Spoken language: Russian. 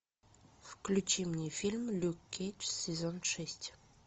включи мне фильм люк кейдж сезон шесть